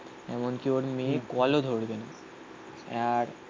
এমনকি ওর মেয়ে কলও ধরবে না